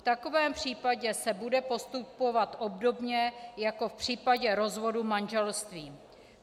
V takovém případě se bude postupovat obdobně jako v případě rozvodu manželství.